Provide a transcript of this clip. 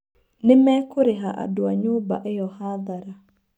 Nĩmekũrĩha andũa nyũmba ĩo hathara.